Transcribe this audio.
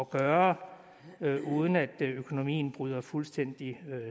gøre uden at økonomien bryder fuldstændig